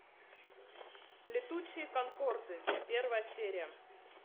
летучие конкорды первая серия